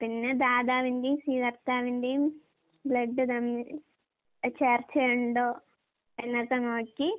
പിന്നെ ദാതാവിന്റേം സ്വീകർത്താവിന്റേം ബ്ലഡ് തമ്മിൽ അഹ് ചേർച്ചയൊണ്ടോ എന്നൊക്കെ നോക്കി